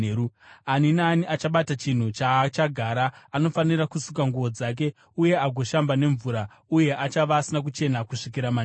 Ani naani achabata chinhu chaachagara anofanira kusuka nguo dzake uye agoshamba nemvura, uye achava asina kuchena kusvikira manheru.